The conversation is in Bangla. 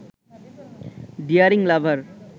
ডিয়ারিং লাভার